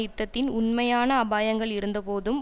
யுத்தத்தின் உண்மையான அபாயங்கள் இருந்தபோதும்